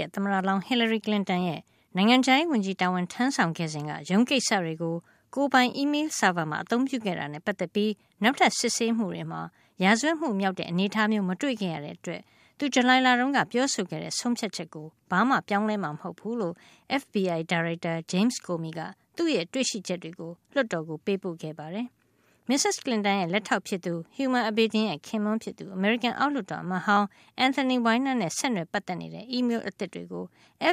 ရဲ့ သမ္မတလောင်း Hillary Clinton ရဲ့ နိုင်ငံခြားရေးဝန်ကြီး တာဝန်ထမ်းဆောင်ခဲ့စဉ်က ရုံးကိစ္စတွေကို ကိုယ်ပိုင် အီးမေးလ်ဆာဗာမှာ အသုံးပြုခဲ့ တာနဲ့ ပတ်သက်ပြီး နောက်ထပ် စစ်ဆေးမှုတွေမှာ ရာဇဝတ်မှု မြောက်တဲ့ အနေထားမျိုး မတွေ့ခဲ့ရတဲ့အတွက် သူဇူလိုင်လတုန်းက ပြောဆိုခဲ့တဲ့ ဆုံးဖြတ်ချက်ကို ဘာမှာ ပြောင်းလဲမှာမဟုတ်ဖူးလို့ FBI ဒါရိုက်တာ James Comey က သူ့ရဲ့တွေ့ရှိချက်ကို လွှတ်တော်ကို ပေးပို့ခဲ့ပါတယ်။ မစ္စက်ကလင်တန်ရဲ့ လက်ထောက် ဖြစ်သူ Huma Abedin ရဲ့ ခင်ပွန်းဖြစ်သူ အမေရိကန် အောက်လွှတ်တော်အမတ်ဟောင်း Anthony Weiner နဲ့ ဆက်နွယ် ပတ်သက်နေတဲ့ အီးမေးလ် အသစ်တွေကို